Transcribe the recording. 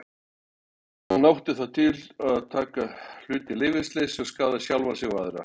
Hann átti það til að taka hluti í leyfisleysi og skaða sjálfan sig og aðra.